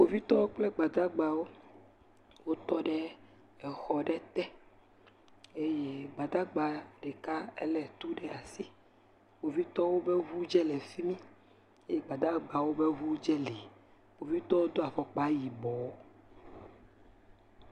Kpovitɔwo kple Gbadagbawo, wotɔ ɖe exɔ ɖe te. Eye Gbadagba ɖeka elé tu ɖe asi. Kpovitɔwo ƒe ŋu tsɛ le fi mi. Eye Gbadagbawo ƒe ŋu tsɛ le. Kpovitɔwo do afɔkpa yibɔɔ